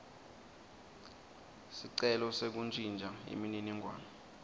sicelo sekuntjintja imininingwane